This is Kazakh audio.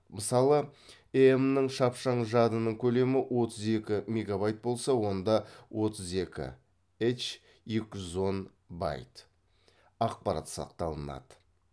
мысалы эем нің шапшаң жадының көлемі отыз екі мегабайт болса онда отыз екі һ екі жүз он байт ақпарат сақталынады